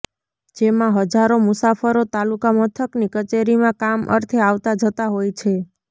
જેમાં હજારો મુસાફરો તાલુકામથકની કચેરીમાં કામ અર્થે આવતા જતા હોય છે